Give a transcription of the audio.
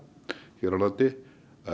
hér á landi